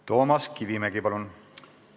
Toomas Kivimägi, palun!